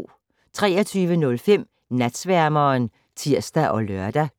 23:05: Natsværmeren (tir og lør)